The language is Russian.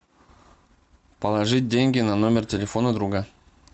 положить деньги на номер телефона друга